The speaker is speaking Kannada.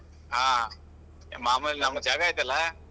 ಹಾ, ಮಾಮೂಲಿ ನಮ್ಮ ಜಾಗ ಐತಲ್ಲಾ.